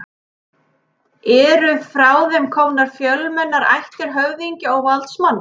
Eru frá þeim komnar fjölmennar ættir höfðingja og valdsmanna.